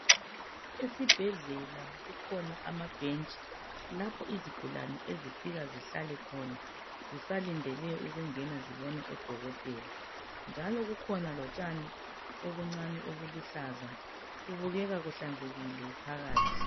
Esibhedlela kukhona amabhentshi lapho izigulane ezifika zihlale khona zisalindele ukungena zibone odokotela njalo kukhona lotshani obuncane obuluhlaza. Kubukeka kuhlanzekile phakathi.